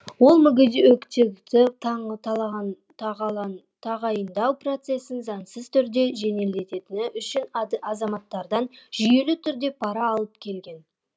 ол мүгедектікті тағайындау процесін заңсыз түрде жеделдеткені үшін азаматтардан жүйелі түрде пара алып келген